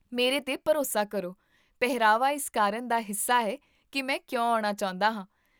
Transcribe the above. ਮੇਰੇ 'ਤੇ ਭਰੋਸਾ ਕਰੋ, ਪਹਿਰਾਵਾ ਇਸ ਕਾਰਨ ਦਾ ਹਿੱਸਾ ਹੈ ਕਿ ਮੈਂ ਕਿਉਂ ਆਉਣਾ ਚਾਹੁੰਦਾ ਹਾਂ